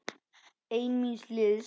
Einn míns liðs.